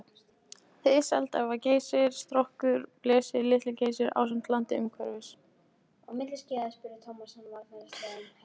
Hið selda var Geysir, Strokkur, Blesi, Litli-Geysir ásamt landi umhverfis.